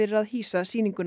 að hýsa sýninguna